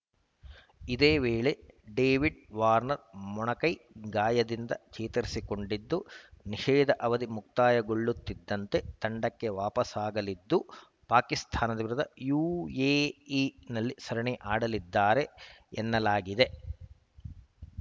ಇದೇ ವೇಳೆ David Warner ಮೊಣಕೈ ಗಾಯದಿಂದ ಚೇತರಿಸಿಕೊಂಡಿದ್ದು ನಿಷೇಧ ಅವಧಿ ಮುಕ್ತಾಯಗೊಳ್ಳುತ್ತಿದ್ದಂತೆ ತಂಡಕ್ಕೆ ವಾಪಸಾಗಲಿದ್ದು ಪಾಕಿಸ್ತಾನ ವಿರುದ್ಧ ಯುಎಇನಲ್ಲಿ ಸರಣಿ ಆಡಲಿದ್ದಾರೆ ಎನ್ನಲಾಗಿದೆ